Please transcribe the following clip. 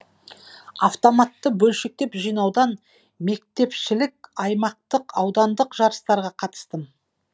автоматты бөлшектеп жинаудан мектепшілік аймақтық аудандық жарыстарға қатыстым